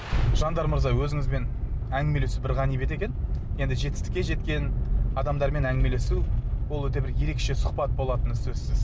жандар мырза өзіңізбен әңгімелесу бір ғанибет екен енді жетістікке жеткен адамдармен әңгімелесу бұл өте бір ерекше сұхбат болатыны сөзсіз